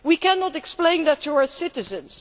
We cannot explain that to our citizens.